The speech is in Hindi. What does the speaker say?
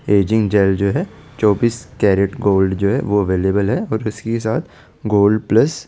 छबीस केरिट गोल्ड जो है वो अवेलेबल है और उसी के साथ गोल्ड प्लस --